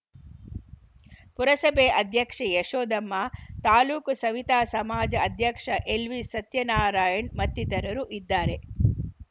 ಪುರಸಭೆ ಅಧ್ಯಕ್ಷೆ ಯಶೋದಮ್ಮ ತಾಲೂಕು ಸವಿತಾ ಸಮಾಜ ಅಧ್ಯಕ್ಷ ಎಲ್‌ವಿ ಸತ್ಯನಾರಾಯಣ್‌ ಮತ್ತಿತರರು ಇದ್ದಾರೆ